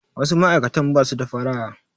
Wasu ma'aikatan ba su da faraha.